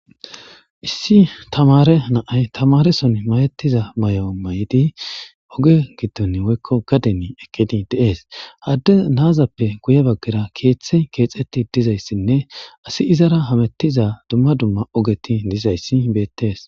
Isi taamare nay tamareso mayetiza mayo mayday Oge Gidon Woyko Gade Gidon Eqidi de'es ha nazas Guye bagara Kethay kexeti Dizaysine Asiy izata Hamitiza duma duma ogeti Dizaysi Betes